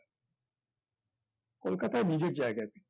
কলকাতায় নিজের জায়গায়